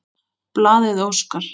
Blaðið óskar